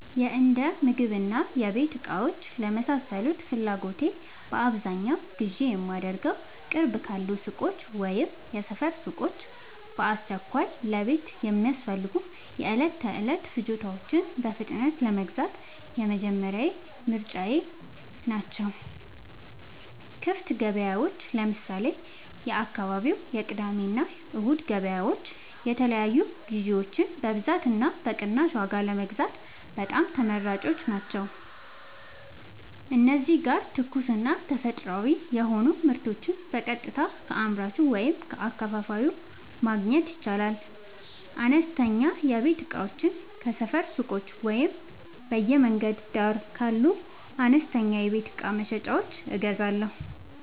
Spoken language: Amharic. የእንደምግብና የቤት እቃዎች ለመሳሰሉት ፍላጎቶቼ በአብዛኛው ግዢ የማደርገዉ፦ ቅርብ ካሉ ሱቆች (የሰፈር ሱቆች)፦ በአስቸኳይ ለቤት የሚያስፈልጉ የዕለት ተዕለት ፍጆታዎችን በፍጥነት ለመግዛት የመጀመሪያ ምርጫየ ናቸው። ክፍት ገበያዎች (ለምሳሌ፦ የአካባቢው የቅዳሜና እሁድ ገበያዎች) የተለያዩ ግዥዎችን በብዛትና በቅናሽ ዋጋ ለመግዛት በጣም ተመራጭ ቦታዎች ናቸው። እዚህ ጋር ትኩስና ተፈጥሯዊ የሆኑ ምርቶችን በቀጥታ ከአምራቹ ወይም ከአከፋፋዩ ማግኘት ይቻላል። አነስተኛ የቤት እቃዎችን ከሰፈር ሱቆች ወይም በየመንገዱ ዳር ካሉ አነስተኛ የቤት እቃ መሸጫዎች እገዛለሁ።